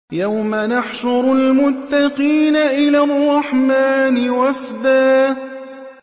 يَوْمَ نَحْشُرُ الْمُتَّقِينَ إِلَى الرَّحْمَٰنِ وَفْدًا